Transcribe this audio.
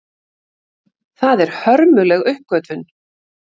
Það er hörmuleg uppgötvun.